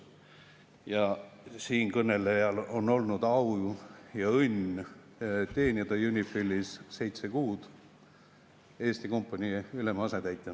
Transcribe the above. Ja siinkõnelejal on olnud au ja õnn teenida UNIFIL-is seitse kuud Eesti kompanii ülema asetäitjana.